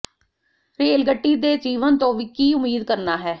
rail ਗੱਡੀ ਤੇ ਜੀਵਨ ਤੋਂ ਕੀ ਉਮੀਦ ਕਰਨਾ ਹੈ